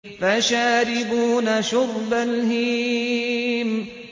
فَشَارِبُونَ شُرْبَ الْهِيمِ